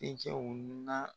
Den cɛw na